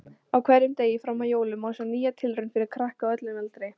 Á hverjum degi fram að jólum má sjá nýja tilraun fyrir krakka á öllum aldri.